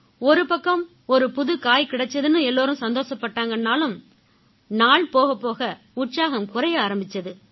ஒருபக்கம் ஒரு புது காய் கிடைச்சுதுன்னு எல்லாரும் சந்தோஷப்பட்டாங்கன்னாலும் நாள் போகப்போக உற்சாகம் குறைய ஆரம்பிச்சுது